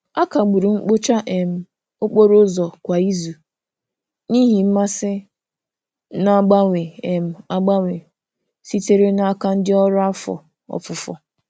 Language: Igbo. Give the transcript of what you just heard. A kagburu mkpocha um okporo ụzọ kwa izu n'ihi mmasị na-agbanwe um agbanwe sitere n'aka ndị ọrụ afọ ofufo.